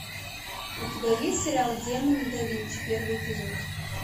у тебя есть сериал демоны да винчи первый эпизод